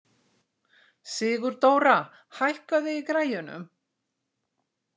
Sigurdóra, hækkaðu í græjunum.